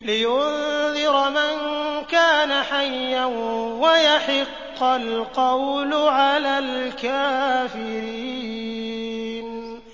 لِّيُنذِرَ مَن كَانَ حَيًّا وَيَحِقَّ الْقَوْلُ عَلَى الْكَافِرِينَ